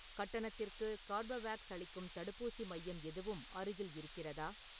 கட்டணத்திற்கு கார்பவேக்ஸ் அளிக்கும் தடுப்பூசி மையம் எதுவும் அருகில் இருக்கிறதா?